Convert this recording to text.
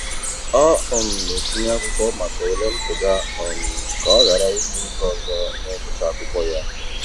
Ọ um na-etinye akwụkwọ maka ule mpụga um ka ọ ghara igbu oge ọzọ n'ịgụcha akwụkwọ ya.